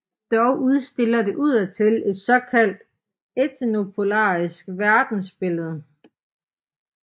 Dog udstiller det udadtil et såkaldt etnopluralistisk verdensbillede